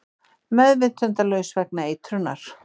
Meðvitundarlaus vegna eitrunar